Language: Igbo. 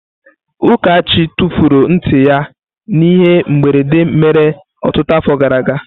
Ukachi tufuru nti ya n'ihe mberede mere ọtụtụ afọ gara aga.